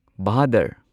ꯚꯥꯗꯔ